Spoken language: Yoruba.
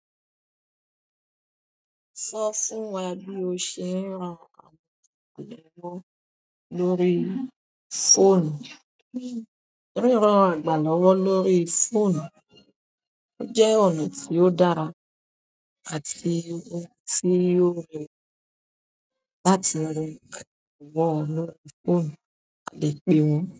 Sọ fún wa bí o ṣe ń ran àgbà lọ́wọ́ lórí fóònù. Ríran àgbà lọ́wọ́ lórí fóònù jẹ́ ọ̀nà tí ó dára àti ohun tí yóò rẹ láti rí àgbà lọ́wọ́ lórí fóònù, a lè pè wọ́n.